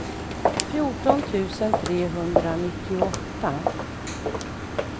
fjorton tusen trehundranittioåtta